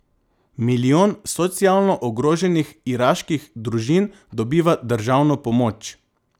Milijon socialno ogroženih iraških družin dobiva državno pomoč.